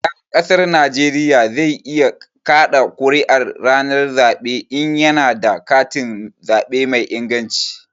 Ɗan ƙasar Najeriya zai iya ƙaɗa ƙuri'a ranar zaɓe in ya na da katin zaɓe mai inganci